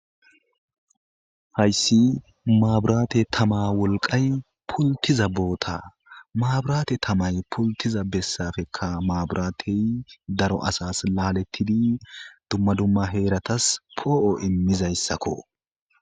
Hayssi maaburaate tama wolqay pultiza boota maaburaate tamay pultiza bessafekka maaburatey daro asas laalettidi dumma dumma heeratas poo'o immizayssakko